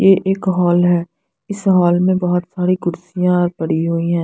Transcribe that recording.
यह एक हॉल है इस हॉल में बहोत सारी कुर्सियां पड़ी हुई हैं।